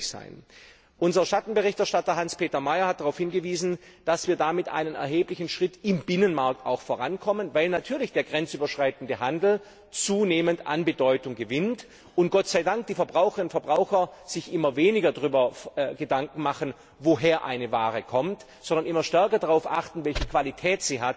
sein. Unser Schattenberichterstatter Hans Peter Mayer hat darauf hingewiesen, dass wir damit auch einen erheblichen Schritt im Binnenmarkt vorankommen, weil natürlich der grenzüberschreitende Handel zunehmend an Bedeutung gewinnt und sich die Verbraucherinnen und Verbraucher glücklicherweise immer weniger Gedanken darüber machen, woher eine Ware kommt, sondern immer stärker darauf achten, welche Qualität